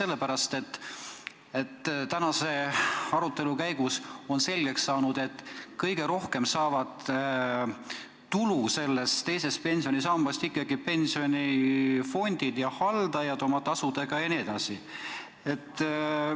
Nimelt on tänase arutelu käigus selgeks saanud, et kõige rohkem saavad teisest pensionisambast tulu ikkagi pensionifondid ja nende haldajad oma kõrgete tasudega.